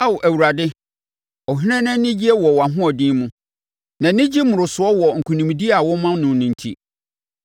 Ao Awurade, ɔhene no anigye wɔ wʼahoɔden mu. Nʼani gye mmorosoɔ wɔ nkonimdie a wo ma no nti!